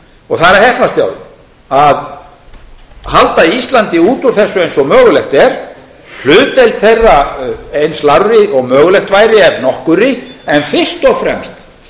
og það er að heppnast hjá þeim að halda íslandi út úr þessu eins og mögulegt er hlutdeild þeirra eins lágri og mögulegt væri ef nokkurri en fyrst og fremst